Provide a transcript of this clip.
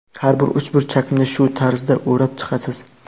Har bir uchburchakni shu tarzda o‘rab chiqasiz.